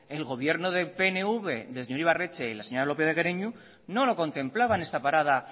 el gobierno del pnv del señor ibarretxe y la señora lópez de guereñu no lo contemplaba esta parada